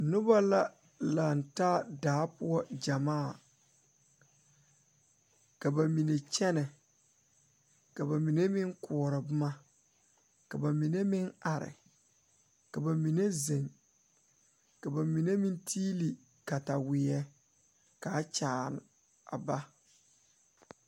Nobɔ la laŋtaa daa poɔ gyamaa ka ba mine kyɛnɛ ka ba mine meŋ koɔrɔ boma ka ba mine meŋ are ka ba mine zeŋ ka ba mine meŋ tiili kataweɛ ka a kyaare a ba.